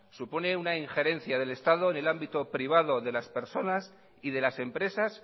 supone una injerencia del estado en el ámbito privado de las personas y de las empresas